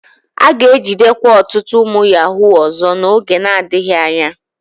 A ga-ejidekwa ọtụtụ ụmụ yahuu ọzọ n'oge adịghị anya.